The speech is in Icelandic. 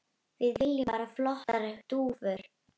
Við viljum bara flottar dúfur.